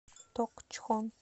токчхон